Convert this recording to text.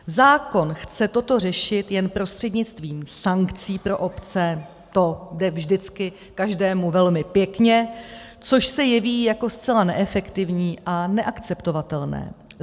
Zákon chce toto řešit jen prostřednictvím sankcí pro obce, to jde vždycky každému velmi pěkně, což se jeví jako zcela neefektivní a neakceptovatelné.